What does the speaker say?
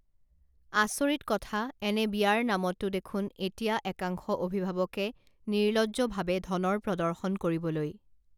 আচৰিত কথা এনে বিয়াৰ নামতো দেখোন এতিয়া একাংশ অভিভাৱকে নিৰ্লজ্জভাৱে ধনৰ প্ৰদৰ্শন কৰিবলৈ